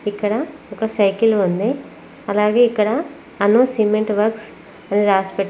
ఇక్కడ ఒక సైకిల్ ఉంది అలాగే ఇక్కడ అను సిమెంట్ వర్క్స్ అని రాసి పెట్--